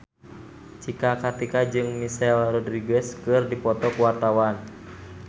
Cika Kartika jeung Michelle Rodriguez keur dipoto ku wartawan